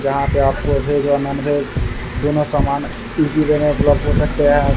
यहाँ पे आके वेज और नॉन वेज दोनों समान इजी वे में उपलब्ध ले सकते हैं।